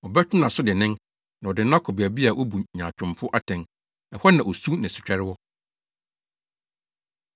Ɔbɛtwe nʼaso dennen, na ɔde no akɔ baabi a wobu nyaatwomfo atɛn; ɛhɔ na osu ne setwɛre wɔ.